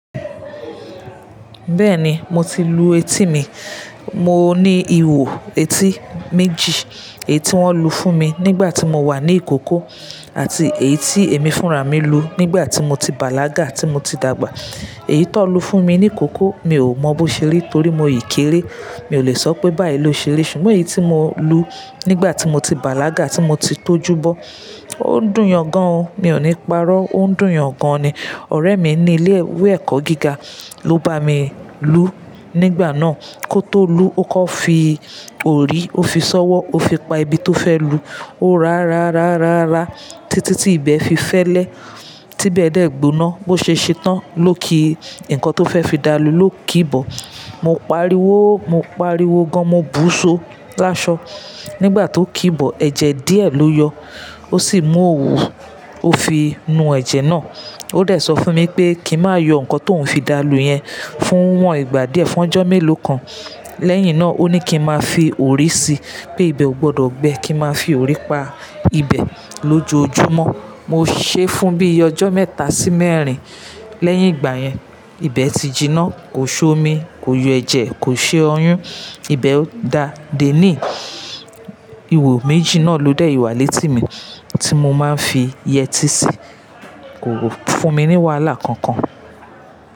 Bẹ́ẹ̀ni, mo ti lu etí mi. Mo ní ìho etí méjì. Èyí tí wọ́n lu fún mi nígbà tí mo wà ní ìkókó àti èyí tí èmi fúnra mi lu nígbà tí mo ti bàlágà tí mo ti dàgbà. Èyí to n lu fún mi ní ìkókó mi ò mọ bó ṣe rí torí mo si kéré. Mi ò lè sọ pé báyí ló ṣe ri, ṣùgbọ́n èyí tí mo lu nígbà tí mo ti bàlágà tí mo ti tójú bọ́, ó ń dùn yan gan. Mi ò ní parọ́, ó ń dùn yan gan ni. Ọ̀rẹ́ mi ní ilé ìwé ẹ̀kọ́ gíga ló bá mi lú nígbà náà. Kó tó lù okọ́ fi òrí, ó fi sọwọ́, ó fi pa ibi tó fẹ́ lu, ó rá rá rá rá rá títí tí ibẹ̀ fi fẹ́lẹ́, tí ibẹ̀ dẹ́ gbóná bó ṣe ṣe tán ló kí nǹkan tó fẹ́ fi dálù ló kí bọ̀. Mo pariwo, mo pariwo gan, mo búṣo láṣọ. Nígbà tó kí bọ̀, ẹ̀jẹ̀ díẹ̀ ló yọ. Ó sì mú òwú, ó fi nu ẹ̀jẹ̀ náà. Ó de sọ fún mi wipé kí n má yọ nǹkan tóun fi dá lù yẹn fún iwọ́n ìgbà díẹ̀, fún ọjọ́ mélòó kan. Lẹ́yìn náà ó ní kí n máa fi òrì síi pé ibẹ̀ ò gbọdọ̀ gbẹ kí n máa fi òrì pa ibẹ̀ lójoojúmọ́. Mo ṣe é fún bí ọjọ́ mẹ́ta sí mẹ́rin. Lẹ́yìn ìgbà yẹn ibẹ̀ ti jiná, kò ṣomi, kò yọ ẹ̀jẹ̀, kò ṣe oyún. Ibẹ̀ ò dáa. Dení yi ìho méjì náà ló dẹ̀ wá létí mi tí mo máa ń fi yẹtí sí i. Kò fún mi ní wàhálà kankan.